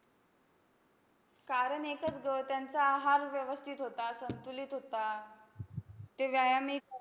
कारण एकच गं, त्यांचा आहार व्यवस्थित होता, संतुलित होता. ते व्यायामही करा